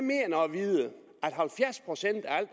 ved at halvfjerds procent af al